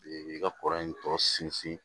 i ka kɔrɔ in tɔ sinsin